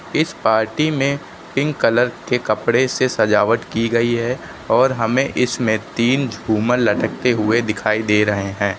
इस पार्टी में pink colour के कपड़े से सजावट की गई है और हमें इसमें तीन झूमर लटकते हुए दिखाई दे रहे हैं।